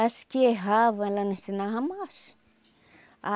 As que erravam, ela não ensinava mais.